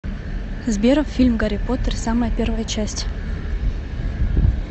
сбер фильм гарри потер самая первая часть